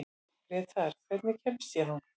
Grétar, hvernig kemst ég þangað?